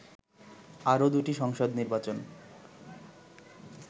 আরও দুটি সংসদ নির্বাচন